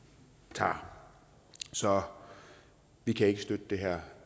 tager så vi kan ikke støtte det her